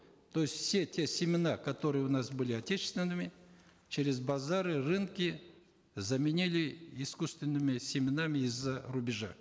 то есть все те семена которые у нас быи отечественными через базары рынки заменили искусственными семенами из за рубежа